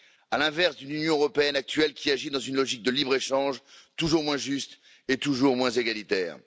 à l'inverse de l'Union européenne actuelle, qui agit dans une logique de libre échange toujours moins juste et toujours moins égalitaire.